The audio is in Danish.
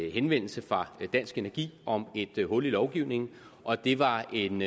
en henvendelse fra dansk energi om et hul i lovgivningen og det var en